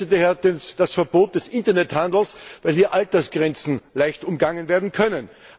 Ich begrüße daher das Verbot des Internethandels, weil hier Altersgrenzen leicht umgangen werden können.